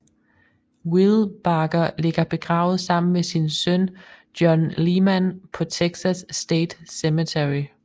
Wilbarger ligger begravet sammen med sin søn John Leman på Texas State Cemetery